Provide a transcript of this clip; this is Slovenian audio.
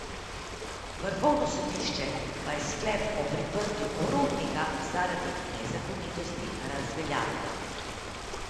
Vrhovno sodišče pa je sklep o priprtju Rotnika zaradi nezakonitosti razveljavilo.